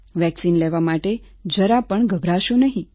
vaccine લેવા માટે જરા પણ ગભરાશો નહીં